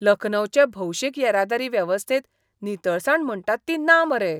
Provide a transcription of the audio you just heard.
लखनौचे भौशीक येरादारी वेवस्थेंत नितळसाण म्हणटात ती ना मरे.